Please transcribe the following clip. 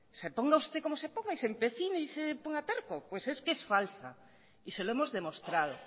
se ponga usted como se ponga y se empecine y se ponga terco pues es que es falsa y se lo hemos demostrado